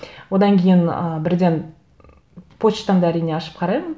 одан кейін ы бірден почтамды әрине ашып қараймын